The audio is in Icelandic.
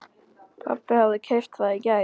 Pabbi hafði keypt það í gær.